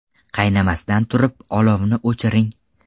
Qaynamasdan turib, olovni o‘chiring.